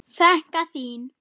Frænka þín?